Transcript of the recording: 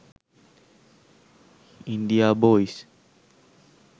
india boys